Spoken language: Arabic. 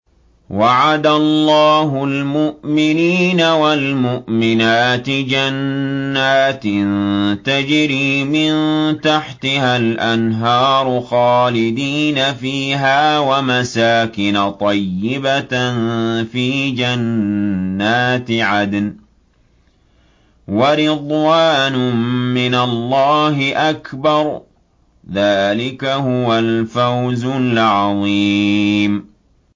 وَعَدَ اللَّهُ الْمُؤْمِنِينَ وَالْمُؤْمِنَاتِ جَنَّاتٍ تَجْرِي مِن تَحْتِهَا الْأَنْهَارُ خَالِدِينَ فِيهَا وَمَسَاكِنَ طَيِّبَةً فِي جَنَّاتِ عَدْنٍ ۚ وَرِضْوَانٌ مِّنَ اللَّهِ أَكْبَرُ ۚ ذَٰلِكَ هُوَ الْفَوْزُ الْعَظِيمُ